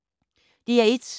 DR1